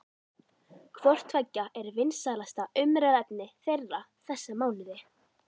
Hvort tveggja er vinsælasta umræðuefni þeirra þessa mánuði.